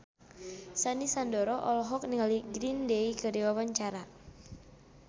Sandy Sandoro olohok ningali Green Day keur diwawancara